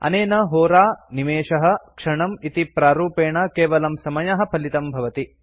अनेन होरा निमेषः क्षणम् इति प्रारूपेण केवलं समयः फलितं भवति